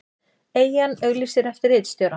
Eyjan auglýsir eftir ritstjóra